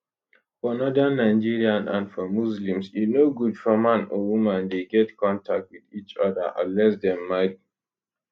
for northern nigeria and for muslims e no good for man or woman dey get contact wit each oda unless dem marry